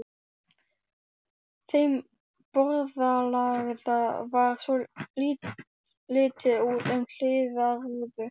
Þeim borðalagða var litið út um hliðarrúðu.